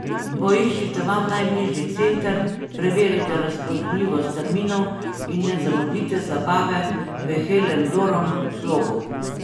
Poiščite vam najbližji center, preverite razpoložljivost terminov in ne zamudite zabave v Helen Doron slogu.